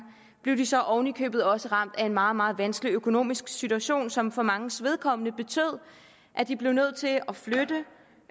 blev de så oven i købet også ramt af en meget meget vanskelig økonomisk situation som for manges vedkommende betød at de blev nødt til